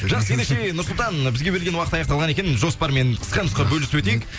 жақсы ендеше нұрсұлтан бізге берген уақыт аяқталған екен жоспармен қысқа нұсқа бөлісіп өтейік